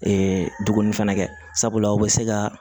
duguni fɛnɛ kɛ sabula o bɛ se ka